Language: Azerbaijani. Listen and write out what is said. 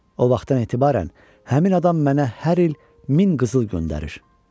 O vaxtdan etibarən həmin adam mənə hər il min qızıl göndərir.